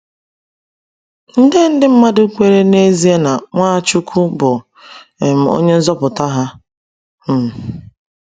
Nde ndị mmadụ kwere n'ezie na Nwachukwu bụ um onye nzọpụta ha. um